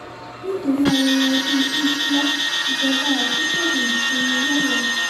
nítorí ayẹyẹ ọdún hijrah ìjọba ọ̀sún kéde ìsinmi lọ́la